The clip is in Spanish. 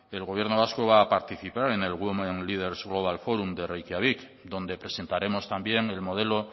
el gobierno vasco va a participar en el women leaders global forum de reikiavik donde presentaremos también el modelo